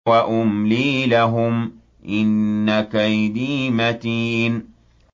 وَأُمْلِي لَهُمْ ۚ إِنَّ كَيْدِي مَتِينٌ